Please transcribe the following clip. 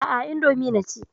Aa, indomi naci